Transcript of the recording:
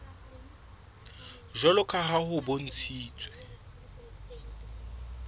jwalo ka ha ho bontshitswe